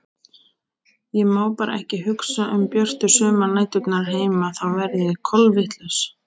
Ég má bara ekki hugsa um björtu sumarnæturnar heima þá verð ég kolvitlaus.